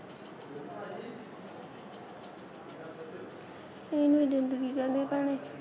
ਇਹਨੂੰ ਈ ਜਿੰਦਗੀ ਕਹਿੰਦੇ ਭੈਣੇ